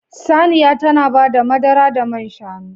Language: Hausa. Saniya tana bada madara da man shanu.